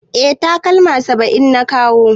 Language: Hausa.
Eh takalma 700 na kawo.